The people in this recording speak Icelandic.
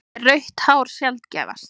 Er rautt hár sjaldgæfast?